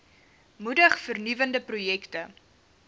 moedig vernuwende projekte